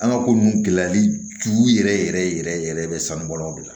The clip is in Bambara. An ka ko nunnu gɛlɛyali tun yɛrɛ yɛrɛ yɛrɛ yɛrɛ yɛrɛ sanu bɔla de la